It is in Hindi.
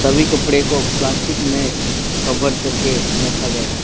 सभी कपड़े को प्लास्टिक में कवर करके रखा गया है।